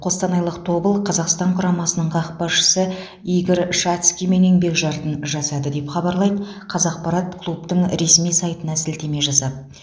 қостанайлық тобыл қазақстан құрамасының қақпашысы игорь шацкиймен еңбек шартын жасады деп хабарлайды қазақпарат клубтың ресми сайтына сілтеме жасап